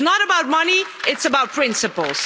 It's not about money it's about principles.